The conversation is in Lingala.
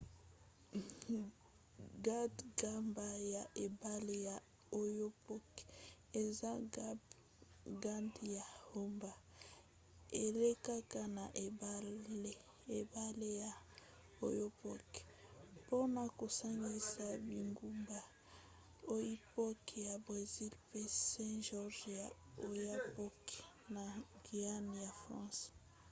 gbagba ya ebale ya oyapock eza gbagba ya haubans. elekaka na ebale ya oyapock mpona kosangisa bingumba oiapoque ya brésil mpe saint-georges ya oyapock na guyane ya france